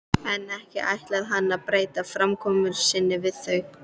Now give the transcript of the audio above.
En ekki ætlaði hann að breyta framkomu sinni við þau.